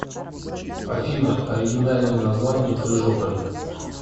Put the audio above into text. афина оригинальное название крыжополь